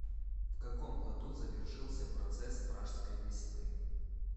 в каком году завершился процесс пражской весны